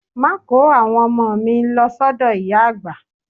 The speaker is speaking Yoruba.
Má kò ó àwọn ọmọ mi lọ sọ́dọ̀ ìyá àgbà.